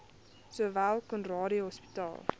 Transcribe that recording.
sowel conradie hospitaal